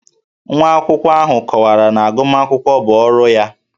Nwa akwụkwọ ahụ kọwara na agụmakwụkwọ bụ ọrụ ya